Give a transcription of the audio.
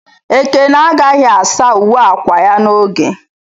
Ekene agaghị asa uwe akwa ya n'oge.